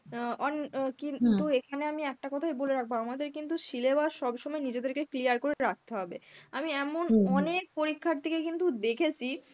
অ্যাঁ অন কিন্তু এখানে আমি একটা কথাই বলে রাখব, আমাদের কিন্তু syllabus সব সময়ই নিজেদেরকে clear করে রাখতে হবে. আমি এমন অনেক পরীক্ষার্থীকে কিন্তু দেখেছি